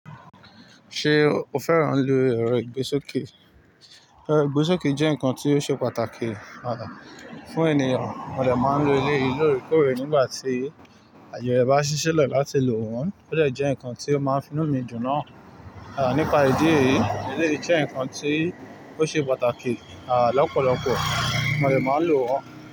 Ṣé o fẹ́ràn lo ẹrọ ìgbésókè? Ẹrọ ìgbésókè jẹ́ ǹkan tí ó ṣe pàtàkì fún ènìyàn, mo dẹ máa ń lo ele yìí lóòrèkóòrè nígbà tí aye rẹ̀ bá ṣíṣi lẹ láti lò wọ́n, ó dẹ jẹ ǹkan tí ó máa ń finu mi dun naa nípa ìdí èyí, eleyi jẹ́ ǹkan tí ó ṣe pàtàkì lọ́pọ̀lọpọ̀, mo dẹ máa ń lò wọ́n.